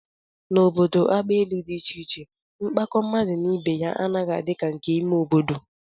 N'obodo agbaelu dị iche iche, mkpakọ mmadụ na ibe ya anaghị adị ka nke ime obodo